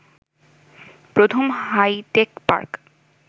প্রথম hitech park